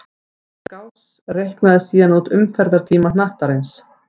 Gauss reiknaði síðan út umferðartíma hnattarins.